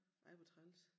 Ej hvor træls